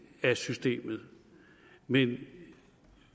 af systemet men